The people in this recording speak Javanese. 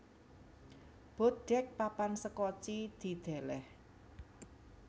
Boat Deck papan sekoci didèlèh